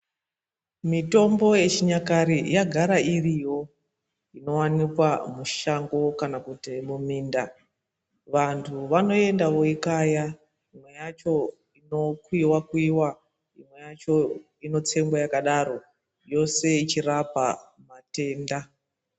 Mitombo yechinyakare yagara iriyo inowanikwa mushango kana kuti muminda vantu vanoenda voikaya imwe yacho inokuiwa kuiwa imwe yacho inotsengwa yakadaro yose yechirapa matenda.